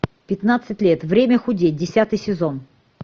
пятнадцать лет время худеть десятый сезон